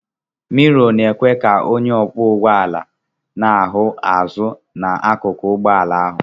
Mirò na-ekwe ka onye ọkwọ ụgbọ ala na-ahụ azụn'akụkụ ụgbọ ala ahụ